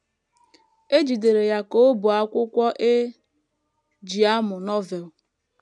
E jidere ya ka o bu akwụkwọ e ji amụ Novel.